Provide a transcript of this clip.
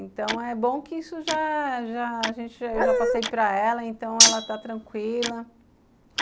Então, é bom que isso já já... Eu já passei para ela, então ela está tranquila.